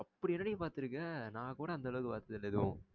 அப்டி என்னடி பாத்துருக்க? நா கூட அந்த அளவுக்கு பாத்ததில்ல எதுவும்